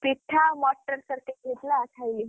ପିଠା ଆଉ ମଟର ତରକାରୀ ହେଇଥିଲା ଖାଇଲି।